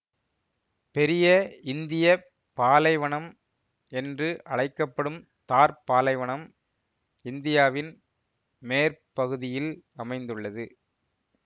பெரிய இந்திய பாலைவனம் என்று அழைக்க படும் தார்ப் பாலைவனம் இந்தியாவின் மேற்பகுதியில் அமைந்துள்ளது